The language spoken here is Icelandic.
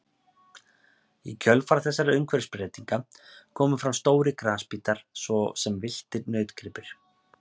Í kjölfar þessara umhverfisbreytinga komu fram stórir grasbítar svo sem villtir nautgripir.